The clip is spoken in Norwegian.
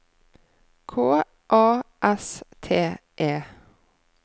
K A S T E